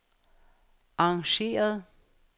arrangeret